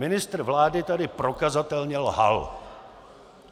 Ministr vlády tady prokazatelně lhal!